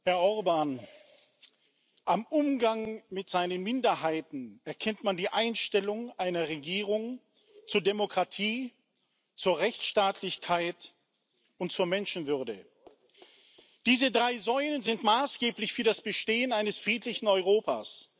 Herr Orbán! Am Umgang mit den Minderheiten erkennt man die Einstellung einer Regierung zur Demokratie, zur Rechtsstaatlichkeit und zur Menschenwürde. Diese drei Säulen sind maßgeblich für das Bestehen eines friedlichen Europas.